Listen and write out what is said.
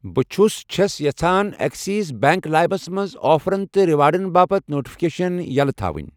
بہٕ چھَُس چھَس یژھان ایٚکسِس بیٚنٛک لایِمس منٛز آفرَن تہٕ ریوارڑَن باپتھ نوٹفکیشن یَلہٕ تھاوُن۔